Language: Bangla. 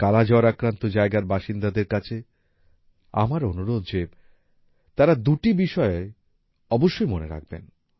কালা জ্বর আক্রান্ত জায়গার বাসিন্দাদের কাছে আমার অনুরোধ যে তারা দুটি বিষয় অবশ্যই মনে রাখবেন